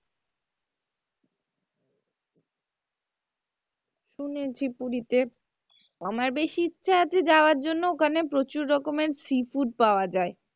শুনেছি পুরিতে আমার বেশি ইচ্ছা আছে যাওয়ার জন্য ওখানে প্রচুর রকমের sea food পাওয়া যায়,